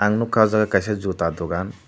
ang nukha oh jaga kaisa juta dukan.